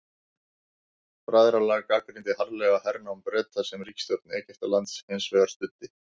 Bræðralagið gagnrýndi harðlega hernám Breta sem ríkisstjórn Egyptalands hins vegar studdi.